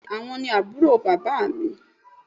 Bẹ́ẹ́ni, àwọn ni aburo bàbá mi